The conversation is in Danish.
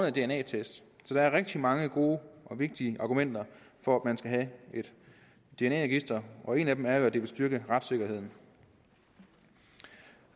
en dna test så der er rigtig mange gode og vigtige argumenter for at man skal have et dna register og et af dem er at det vil styrke retssikkerheden